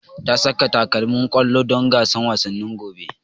Ta saka takalmin ƙwallo don gasan wasanni na gobe